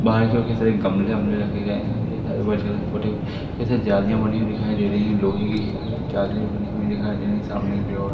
बाहर जोकि से गमले ओमले रखे गये है जालियां बनी हुई दिखाई दे रही है लोहे की जाली बनी हुई दिखाई दे रही है सामने की ओर--